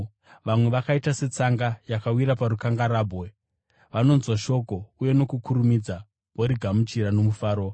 Vamwe vakaita setsanga yakawira parukangarahwe, vanonzwa shoko uye nokukurumidza vorigamuchira nomufaro.